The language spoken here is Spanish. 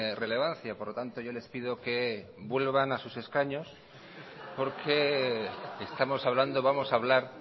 relevancia por lo tanto yo les pido que vuelvan a sus escaños porque estamos hablando vamos a hablar